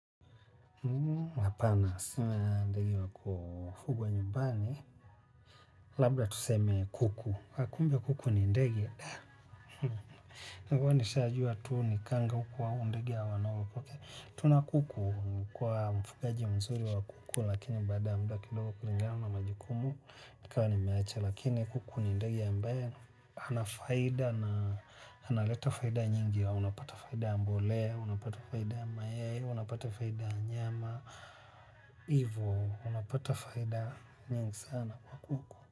Labda tuseme kuku kumbe kuku ni ndege huwa ni shajua tu ni kanga huku au ndege ya wanao tunakuku kwa mfugaji mzuri wa kuku lakini baada ya mda kidogo kulinga na majukumu ikawa nimeacha lakini kuku ni ndege ambaye anafaida na analeta faida nyingi au unapata faida ya mbolea unapata faida mayai unapata faida nyama ivo unapata faida nyingi sana kwa kuku.